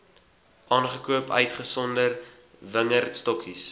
aangekoop uitgesonderd wingerdstokkies